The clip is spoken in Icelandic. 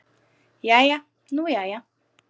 Jæja nú jæja.